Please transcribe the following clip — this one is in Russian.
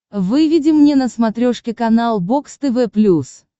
выведи мне на смотрешке канал бокс тв плюс